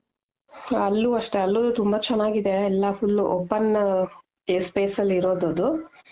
ಅಲ್ಲೂ ಅಷ್ಟೆ ಅಲ್ಲು ತುಂಬಾ ಚೆನಾಗ್ ಇದೆ ಎಲ್ಲಾ full open space ಅಲ್ಲಿ ಇರೋದು ಅದು .